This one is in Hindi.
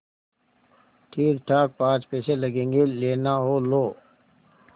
ठीकठाक पाँच पैसे लगेंगे लेना हो लो